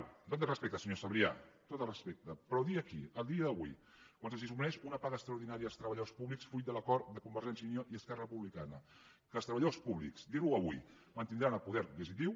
amb tot el respecte senyor sabrià amb tot el respecte però dir aquí a dia d’avui quan se’ls suprimeix una paga extraordinària als treballadors públics fruit de l’acord de convergència i unió i esquerra republicana que els treballadors públics dir ho avui mantindran el poder adquisitiu